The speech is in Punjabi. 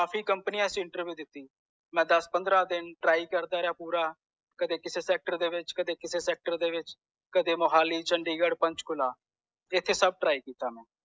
ਅੱਸੀ ਕੰਪਨੀਆਂ ਚ ਇੰਟਰਵਿਊ ਦਿਤੀ ਮੈਂ ਦਸ ਪੰਦਰਾਂ ਦਿਨ try ਕਰਦਾ ਰਿਹਾ ਪੂਰਾ ਕਦੇ ਕਿੱਸੇ sector ਵਿਚ ਕਦੇ ਕਿਸੇ sector ਦੇ ਵਿਚ ਕਦੇ mohali chandigarh panchkula ਇਥੇ ਸਬ try ਕੀਤਾ ਮੈਂ